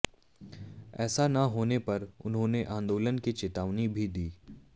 ऐसा ना होने पर उन्होंने आंदोलन की चेतावनी भी दी है